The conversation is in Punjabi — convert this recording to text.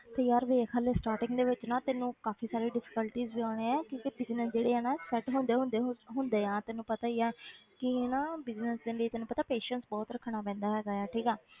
ਤੇ ਯਾਰ ਵੇਖ ਹਾਲੇ starting ਦੇ ਵਿੱਚ ਨਾ ਤੈਨੂੰ ਕਾਫ਼ੀ ਸਾਰੇ difficulties ਵੀ ਆਉਣੇ ਹੈ ਕਿਉਂਕਿ business ਜਿਹੜੇ ਆ ਨਾ set ਹੁੰਦੇ ਹੁੰਦੇ ਹੁੰ~ ਹੁੰਦੇ ਆ ਤੈਨੂੰ ਪਤਾ ਹੀ ਹੈ ਕਿ ਨਾ business ਦੇ ਲਈ ਤੈਨੂੰ ਪਤਾ patience ਬਹੁਤ ਰੱਖਣਾ ਪੈਂਦਾ ਹੈਗਾ ਹੈ ਠੀਕ ਆ,